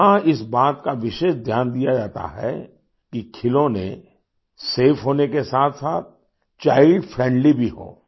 यहां इस बात का विशेष ध्यान दिया जाता है कि खिलौने सफे होने के साथसाथ चाइल्ड फ्रेंडली भी हों